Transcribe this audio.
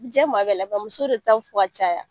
Jɛn maa bɛɛ la nka muso de ta bɛ fɔ ka caya